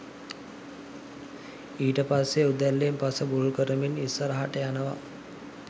ඊට පස්සෙ උදැල්ලෙන් පස බුරුල් කරමින් ඉස්සරහට යනව